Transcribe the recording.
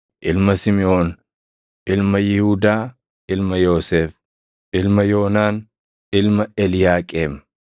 ilma Simiʼoon, ilma Yihuudaa, ilma Yoosef, ilma Yoonaan, ilma Eliyaaqeem,